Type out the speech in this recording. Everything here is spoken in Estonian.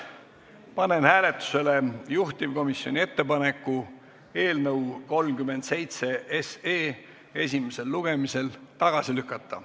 Panen hääletusele juhtivkomisjoni ettepaneku eelnõu 37 esimesel lugemisel tagasi lükata.